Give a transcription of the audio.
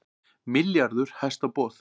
Milljarður hæsta boð